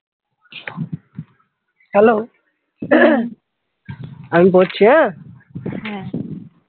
Hello আমি বলছি হ্যাঁ